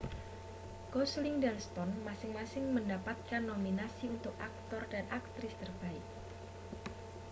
gosling dan stone masing-masing mendapatkan nominasi untuk aktor dan aktris terbaik